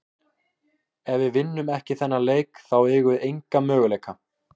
Ef við vinnum ekki þennan leik þá eigum við enga möguleika.